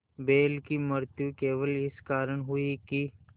बैल की मृत्यु केवल इस कारण हुई कि